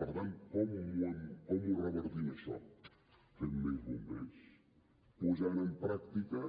per tant com ho revertim això fent més bombers posant en pràctica